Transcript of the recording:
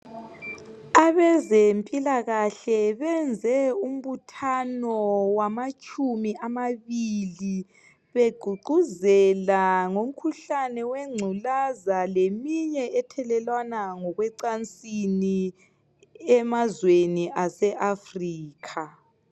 Abezempilakahle benze umbuthano wamatshumi amabili, begqugquzela ngomkhuhlane wengculaza leminye ethelelwana ngokwecansini emazweni aseAfrica.